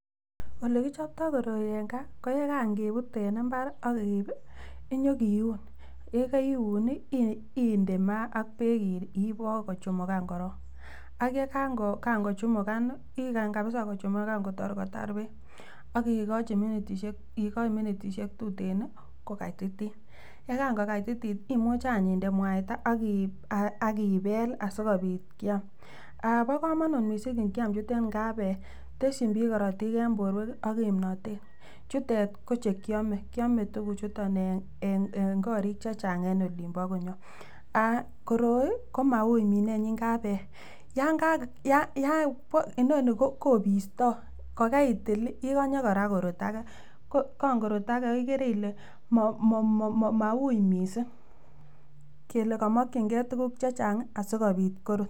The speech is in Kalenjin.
Ole kichoptoo koroi en gaa ko yekan kebut en imbar ak keip inyokiun yekeiun nii inde maat ak peek ipoo kochumugan korong ak yekan kochumugan nii, igany kabisa kochumukan kotor kotar peek ak ikoch minitishek tuten nii kokatitit, yekan kokatitit imuche anch inde mwaita ak ibek lii aikobit kiam, bokomonut missing ikiam chutet ngap ee tesyin bik korotik en borwek ak kipnotet, chutet kochekiome, kiome tukuchuton en korik chechang en olin bo konyon. Koroi komaui minenyin ngap ee yon kaa yaan, inonii kopistoo kokeitil ikonye koraa korut agee ko kong korut agee ikere ile maui missing kele komokin gee tukuk chechangii asikopit korut.